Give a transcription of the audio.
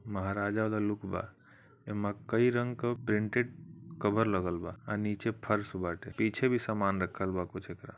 महाराजा वाला लुक बा। एमा कई रंग क प्रिंटेड कबर लगल बा आ नीचे फर्श बाटे। पीछे भी सामान रखल बा कुछ एकरा --